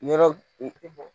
Yɔrɔ